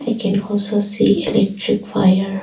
I can also see electric wire.